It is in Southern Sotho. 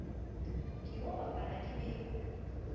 ke o bapala ke be